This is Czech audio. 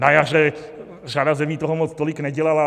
Na jaře řada zemí toho moc tolik nedělala.